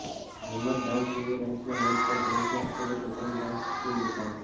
હાલમાં જ dance India ડાન્સના મંચ પર કરિશ્મા કપૂરે પોતાની ડાન્સ સ્કિલ બતાવી